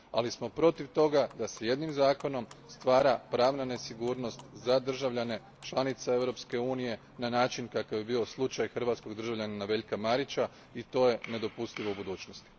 Ali smo protiv toga da se jednim zakonom stvara pravna nesigurnost za državljane članice Europske unije na način kakav je bio slučaj hrvatskog državljanina Veljka Marića i to je nedopustivo u budućnosti.